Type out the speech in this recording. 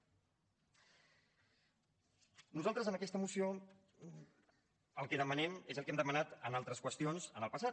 nosaltres en aquesta moció el que demanem és el que hem demanat en altres qüestions en el passat